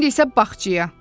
İndi isə bağçaya.